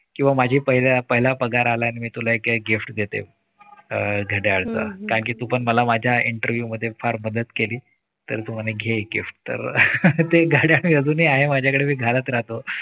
किंवा माझे पहिल्या पहिला पगार आला आणि मी तुला एक gift घेते. अह घड्याळ च कारण कि तु पण मला माझ्या interview मध्ये फार मदत केली. तर तो म्हणे घे एक गिफ्ट. तर ते घड्याळ अजूनही आहे माझ्याकडे मी घालत राहतो.